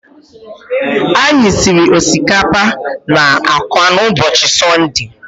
Anyị siri osikapa na agwa n'ụbọchị Sọnde